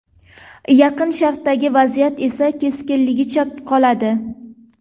Yaqin Sharqdagi vaziyat esa keskinligicha qoladi.